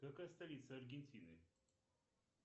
какая столица аргентины